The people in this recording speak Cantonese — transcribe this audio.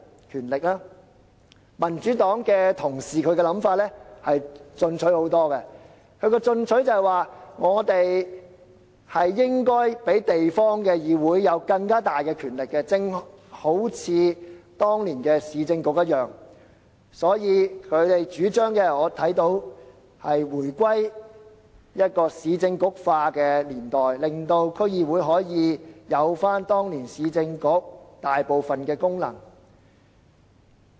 至於民主黨的同事，他們想法進取得多，建議當局賦予地方議會更大的權力，正如當年的市政局一樣，他們的主張是回歸"市政局化"的年代，賦予區議會當年市政局負責的大部分的功能。